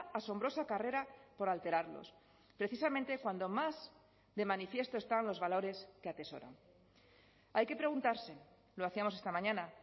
asombrosa carrera por alterarlos precisamente cuando más de manifiesto están los valores que atesoran hay que preguntarse lo hacíamos esta mañana